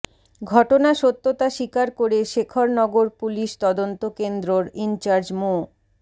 ঘটনা সত্যতা স্বীকার করে শেখরনগর পুলিশ তদন্তকেন্দ্রর ইনচার্জ মো